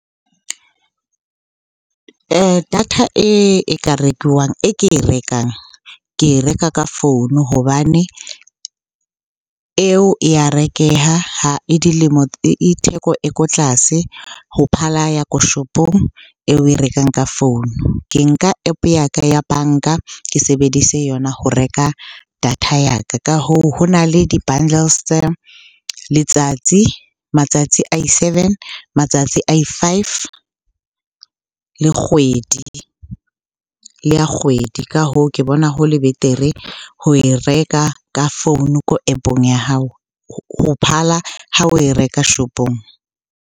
Data e ka rekiwang e ke e rekang, ke reka ka founu hobane eo ya rekeha. Ha e theko e ko tlase ho phala ya ko shopong eo oe rekang ka founu. Ke nka App-o ya ka ya banka, ke sebedise yona ho reka data ya ka. Ka hoo, ho na le di-bundles tsa letsatsi, matsatsi a i-seven, matsatsi a i-five le kgwedi, le ya kgwedi. Ka hoo, ke bona ho le betere ho e reka ka founu ko App-ong ya hao ho phala ha oe reka shopong.